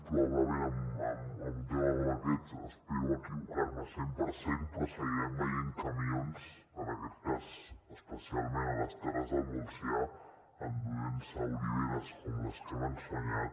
probablement en un tema com aquest espero equivocar me al cent per cent seguirem veient camions en aquest cas especialment a les terres del montsià enduent se oliveres com les que hem ensenyat